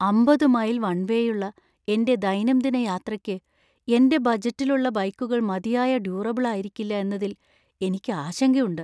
അമ്പത് മൈൽ വൺവേയുള്ള എന്‍റെ ദൈനംദിന യാത്രയ്‌ക്ക് എന്‍റെ ബഡ്ജറ്റിലുള്ള ബൈക്കുകൾ മതിയായ ഡ്യൂറബിൾ ആയിരിക്കില്ല എന്നതിൽ എനിക്ക് ആശങ്കയുണ്ട്.